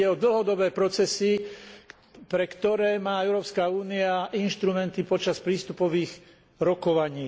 Ide o dlhodobé procesy, pre ktoré má Európska únia inštrumenty počas prístupových rokovaní.